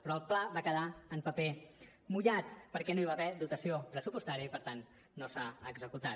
però el pla va quedar en paper mullat perquè no hi va haver dotació pressupostària i per tant no s’ha executat